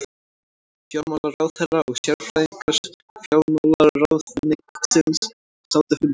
Fjármálaráðherra og sérfræðingar fjármálaráðuneytisins sátu fundinn